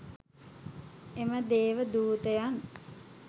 එම දේව දූතයන්